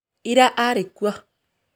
Ira arĩ kuo